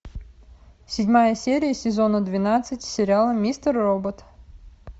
седьмая серия сезона двенадцать сериала мистер робот